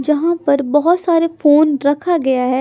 जहाँ पर बहोत सारे फोन रखा गया है।